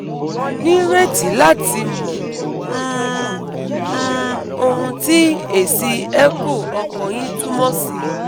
Mo nireti lati mo um um owun ti esi echo okan yi tumo si